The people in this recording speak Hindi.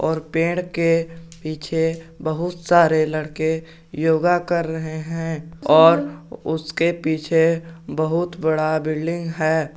और पेड़ के पीछे बहुत सारे लड़के योगा कर रहे हैं और उसके पीछे बहुत बड़ा बिल्डिंग है।